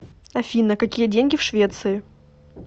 афина какие деньги в швеции